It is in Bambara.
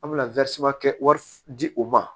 An bɛna kɛ wari di u ma